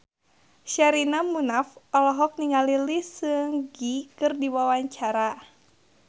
Sherina Munaf olohok ningali Lee Seung Gi keur diwawancara